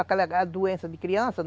Aquela doença de criança, né?